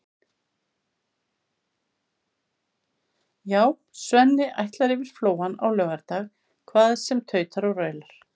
Já, Svenni ætlar yfir Flóann á laugardag hvað sem tautar og raular.